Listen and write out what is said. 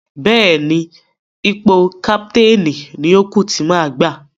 Bẹ́ẹ̀ni, ipò káptéénì ni ó kú tí má gbà.